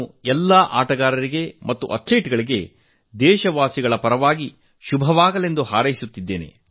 ಎಲ್ಲಾ ಆಟಗಾರರಿಗೆ ಮತ್ತು ಅಥ್ಲೀಟ್ ಗಳಿಗೆ ದೇಶವಾಸಿಗಳ ಪರವಾಗಿ ನಾನು ಶುಭ ಕೋರುತ್ತೇನೆ